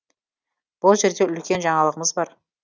бұл жерде үлкен жаңалығымыз бар